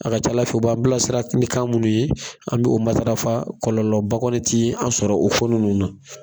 A ka ca Ala fɛ u b'an bilasira ni kan munnu ye, an bi o matarafa kɔlɔlɔba kɔni ti an sɔrɔ o ko ninnu na